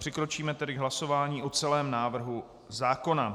Přikročíme tedy k hlasováním o celém návrhu zákona.